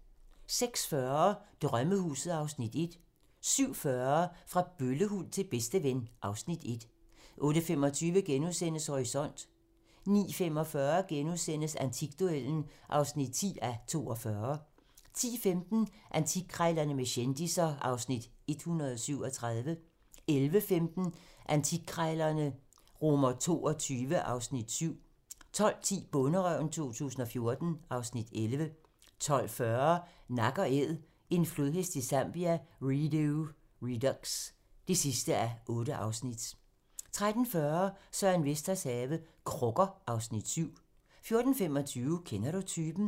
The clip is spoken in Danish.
06:40: Drømmehuset (Afs. 1) 07:40: Fra bøllehund til bedsteven (Afs. 1) 08:25: Horisont * 09:45: Antikduellen (10:42)* 10:15: Antikkrejlerne med kendisser (Afs. 137) 11:15: Antikkrejlerne XXII (Afs. 7) 12:10: Bonderøven 2014 (Afs. 11) 12:40: Nak & Æd - en flodhest i Zambia - Redux (8:8) 13:40: Søren Vesters have - Krukker (Afs. 7) 14:25: Kender du typen?